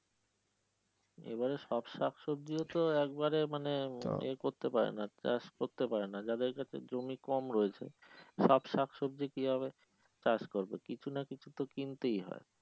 এইবারের সব শাকসবজি ও তো একবারে মানে ইয়ে করতে পারে নাহ যাদের ক্ষেত্রে জমি কম রয়েছে, সব শাকসবজি কি ভাবে চাষ করবো কিছু নাহ কিছু তো কিনতে হয়